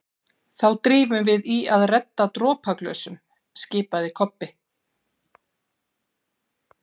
Þá drífum við í að redda dropaglösum, skipaði Kobbi.